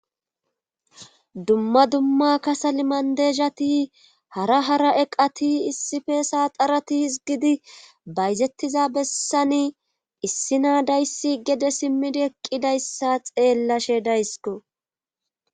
Dumma dumma kasal mandezhati hara hara eqati issife saaxarati hizgidi bayzettiza bessani issi na dayssi gede simmidi eqqidayssa xeellashe daysko.